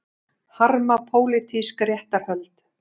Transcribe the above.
Harma pólitísk réttarhöld